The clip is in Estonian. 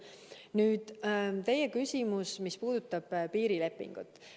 Nüüd teie küsimus, mis puudutas piirilepingut.